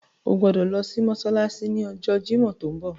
O gbodo lo si mósálásí ni ọjọ Jimọ ti nbọ.